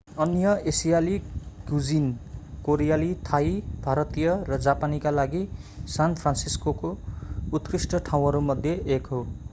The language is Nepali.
अन्य एसियाली कुजिन कोरियाली थाई भारतीय र जापानीका लागि सान फ्रान्सिस्को उत्कृष्ट ठाउँहरूमध्ये एक हो